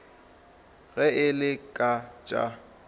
ge e le ka tša